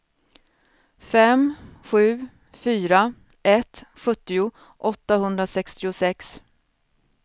fem sju fyra ett sjuttio åttahundrasextiosex